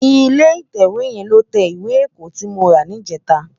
Ilé itèwé yèn ló tè iwé èkò ti mó rá nijètá